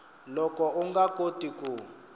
loko u nga koti ku